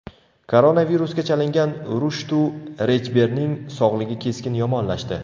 Koronavirusga chalingan Rushtu Rechberning sog‘lig‘i keskin yomonlashdi.